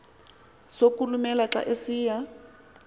sokulumela xa esiya